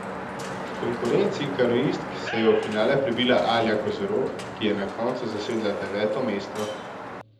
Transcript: V konkurenci kanuistk se je v finale prebila Alja Kozorog, ki je na koncu zasedla deveto mesto.